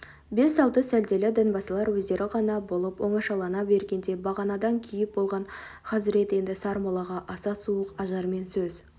бес-алты сәлделі дінбасылар өздері ғана болып оңашалана бергенде бағанадан күйіп болған хазірет енді сармоллаға аса суық ажармен сөз